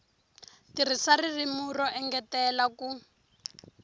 tirhisa ririmi ro engetela ku